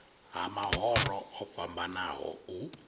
ha mahoro o fhambanaho u